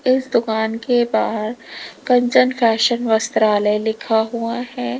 इस दुकान के बाहर कंचन फैशन वस्त्रालय लिखा हुआ है।